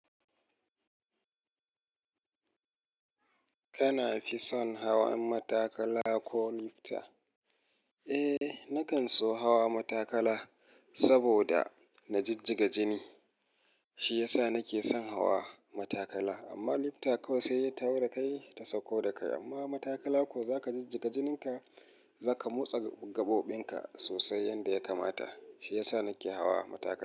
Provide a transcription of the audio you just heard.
Kana fi son hawan matakala ko lifta? Eh, nakan so hawa matakala saboda na jijjiga jini. Shi yasa nake son hawa matakala. Amma lifta kawai sai ta hau dakai ta sauko dakai. Amma matakala ko zaka jijjiga jininka, zaka motsa gaɓoɓin ka sosai yanda ya kamata. Shi yasa nake hawa matakala.